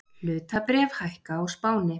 Hlutabréf hækka á Spáni